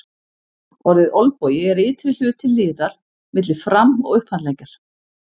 Orðið olnbogi er ytri hluti liðar milli fram- og upphandleggjar.